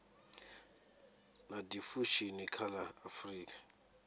na diffusion kha la afrika